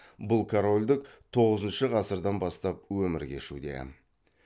бұл корольдік тоғызыншы ғасырдан бастап өмір кешуде